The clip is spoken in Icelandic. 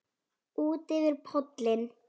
Útyfir pollinn